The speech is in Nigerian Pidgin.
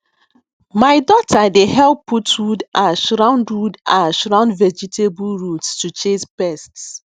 my daughter dey help put wood ash round wood ash round vegetable roots to chase pests